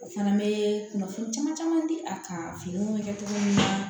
O fana bɛ kunnafoni caman caman di a kan finiw bɛ kɛ cogo min na